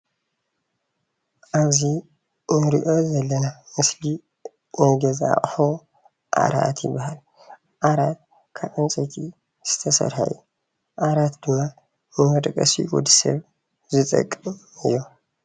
እዙይ እንሪኦ ዘለና ምስሊ ናይ ገዛ ኣቁሑ ዓራት ይበሃል። ዓራት ካብ ዕንጨይቲ ዝተሰርሐ እዩ። ዓራት ድማ ንመደቀሲ ወድሰብ ዝጠቅም እዩ።